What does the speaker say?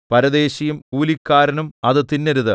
പരദേശിയും കൂലിക്കാരനും അത് തിന്നരുത്